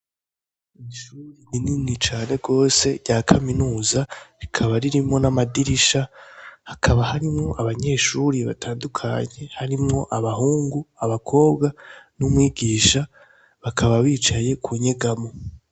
Ishure rinini cane gose rya kaminuza rikaba ririmwo namadirisha hakaba harimwo abanyeshuri batandukanye harimwo abahungu abakobwa numwigisha bakaba bicaye kunyegamwo